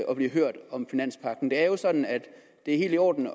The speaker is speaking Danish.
at blive hørt om finanspagten det er jo sådan at det er helt i orden